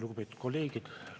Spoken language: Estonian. Lugupeetud kolleegid!